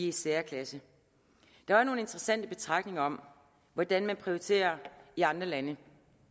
i særklasse der var nogle interessante betragtninger om hvordan man prioriterer i andre lande